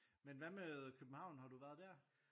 Men hvad med København har du været dér?